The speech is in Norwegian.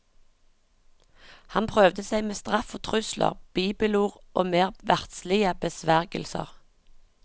Han prøvde seg med straff og trusler, bibelord og mer verdslige besvergelser.